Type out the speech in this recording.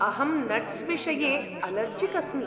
अहं नट्स् विषये अलर्जिक् अस्मि।